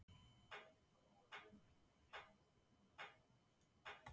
Gjaldþrotaskipti teljast byrja við uppkvaðningu gjaldþrotaúrskurðar.